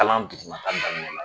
Kalan duguma ta daminɛ na